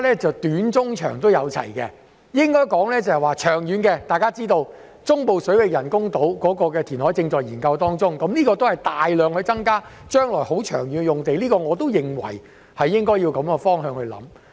在長遠規劃方面，大家也知道，中部水域人工島填海的計劃正在研究，這將會增加大量土地，而且是長遠的用地，因此，我也認為應朝着這方向考慮。